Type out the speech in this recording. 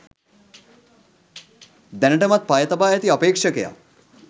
දැනටමත් පය තබා ඇති අපේක්ෂකයා